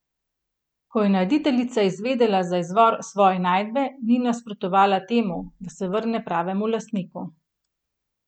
Ko je najditeljica izvedela za izvor svoje najdbe, ni nasprotovala temu, da se vrne pravemu lastniku.